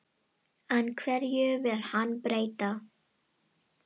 En hverju vill hann breyta?